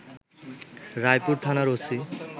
রায়পুর থানার ওসি